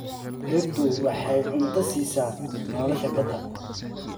Dhirtu waxay cunto siisaa nolosha badda.